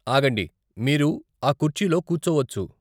ఆగండి, మీరు ఆ కుర్చీలో కూర్చోవచ్చు.